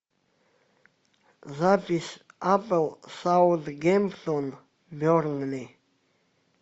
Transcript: запись апл саутгемптон бернли